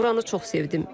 Buranı çox sevdim.